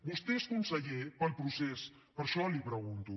vostè és conseller pel procés per això l’hi pregunto